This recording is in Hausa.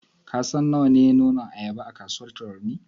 Ka san nawa ne nonon ayaba a kasuwar Tarauni?